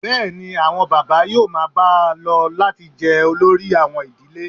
Bẹ́ẹ̀ ni, àwọn bàbá yóò máa bá a lọ láti jẹ́ olórí àwọn ìdílé